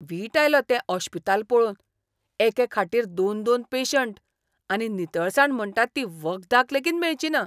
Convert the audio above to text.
वीट आयलो तें ओश्पिताल पळोवन. एके खाटीर दोन दोन पेशंट, आनी नितळसाण म्हणटात ती वखदाक लेगीत मेळचिना.